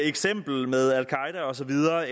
eksempel med al qaeda og så videre